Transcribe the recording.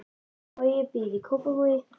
Bogi býr í Kópavogi.